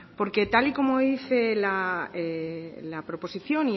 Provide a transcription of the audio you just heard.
porque tal y como dice la proposición